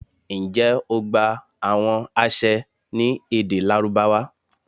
njẹ o gba awọn aṣẹ ni ede Larubawa?